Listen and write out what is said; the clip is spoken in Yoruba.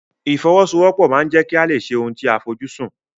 Ìfọwọ́sowọ́pọ̀ ma ń jẹ́ kí a lè ṣe ohun tí a fojú sùn.